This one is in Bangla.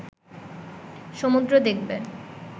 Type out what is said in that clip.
সমুদ্র দেখবে